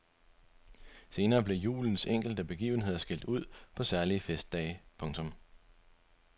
Senere blev julens enkelte begivenheder skilt ud på særlige festdage. punktum